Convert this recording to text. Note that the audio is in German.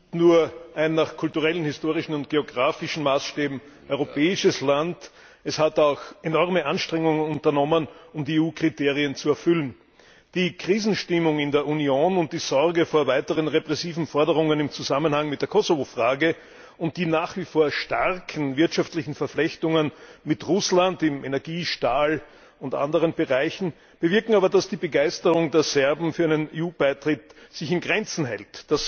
Herr Präsident! Serbien ist nicht nur ein nach kulturellen, historischen und geografischen Maßstäben europäisches Land, es hat auch enorme Anstrengungen unternommen, um die EU Kriterien zu erfüllen. Die Krisenstimmung in der Union und die Sorge vor weiteren repressiven Forderungen im Zusammenhang mit der Kosovo Frage und die nach wie vor starken wirtschaftlichen Verflechtungen mit Russland im Energie Stahl und anderen Bereichen bewirken aber, dass sich die Begeisterung der Serben für einen EU Beitritt in Grenzen hält.